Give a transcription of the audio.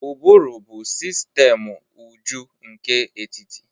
Ụbụrụ bụ sistemu ụjọ nke etiti